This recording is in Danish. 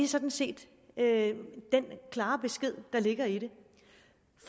sådan set den klare besked der ligger i det